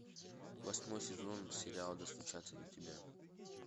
восьмой сезон сериала достучаться до тебя